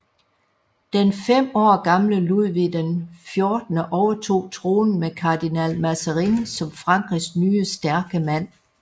Den fem år gamle Ludvig XIV overtog tronen med kardinal Mazarin som Frankrigs nye stærke mand